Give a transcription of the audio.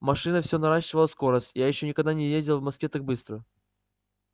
машина все наращивала скорость я ещё никогда не ездил в москве так быстро